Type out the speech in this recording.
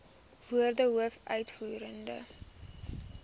woorde hoof uitvoerende